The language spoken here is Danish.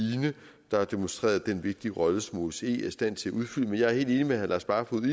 der har demonstreret den vigtige rolle som osce er i stand til at udfylde men jeg er helt enig med herre lars barfoed i